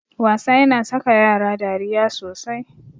Wasa yana saka yara dariya sosai.